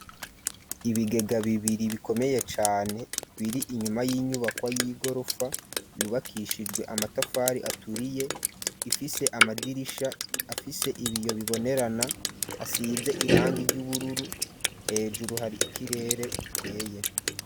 Ibigega bibiri bikomeye cane biri inyuma y'inyubakwa y'igorofa yubakishijwe amatafari aturiye ifise amadirisha afise ibiyo bibonerana asize irangi ry'ubururu hejuru hari ikirere gikeye.